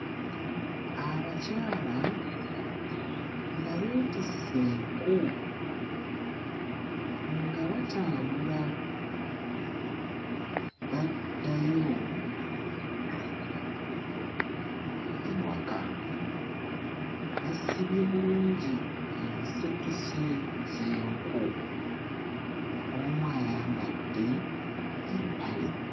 Abakyala nga beetisse enku nga batambula baddayo ewaka basibye bulungi ensekese z'enku omu ayambadde empale.